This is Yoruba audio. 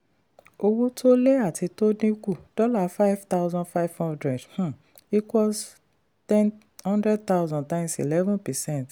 owó tó lé àti tó dínkù: dollar five thousand five hundred um equals hundred thousand times eleveen percent.